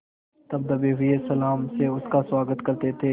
तब दबे हुए सलाम से उसका स्वागत करते थे